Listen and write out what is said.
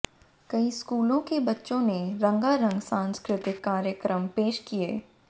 कई स्कूलों के बच्चों ने रंगारंग सांस्कृतिक कार्यक्रम पेश किये